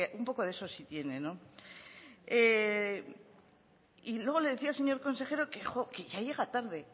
un poco de eso sí tiene y luego le decía al señor consejero que ya llega tarde